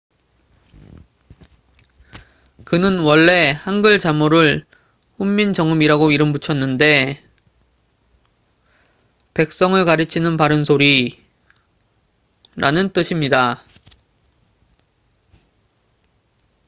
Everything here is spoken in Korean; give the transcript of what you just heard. "그는 원래 한글 자모를 훈민정음이라고 이름 붙였는데 "백성을 가르치는 바른 소리""라는 뜻입니다.